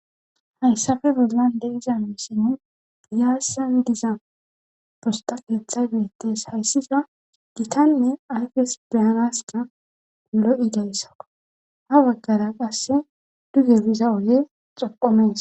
hayssafe boznan de iza misinni piyassan diza posta keeththa gidettes hayssiza giitanne ayfes beyanaska lo7i dayssako ha baggara qasse duge biza oge xoqomees